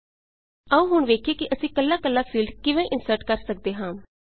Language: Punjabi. ਆਉ ਹੁਣ ਵੇਖੀਏ ਕਿ ਅਸੀਂ ਕੱਲਾ ਕੱਲਾ ਫੀਲਡ ਕਿਵੇਂ ਇੰਸਰਟ ਕਰ ਸੱਕਦੇ ਹਾਂ